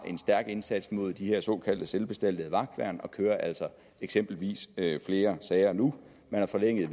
en stærk indsats mod de her såkaldte selvbestaltede vagtværn og kører altså eksempelvis flere sager nu man har forlænget